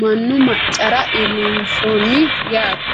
mannu maccara iillinshonni yaate.